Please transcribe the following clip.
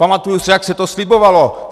Pamatuju se, jak se to slibovalo.